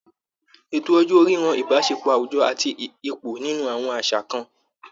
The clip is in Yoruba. Ètò ọjọ́ orí ran Ìbáṣepọ̀ àwùjọ àti ipò nínú àwọn àṣà kan